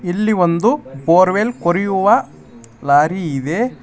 ಇಲ್ಲಿ ಒಂದು ಬೋರ್ವೆಲ್ ಕೊರಿಯುವ ಲಾರಿ ಇದೆ.